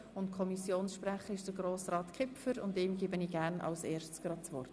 , Kommissionssprecher der FiKo.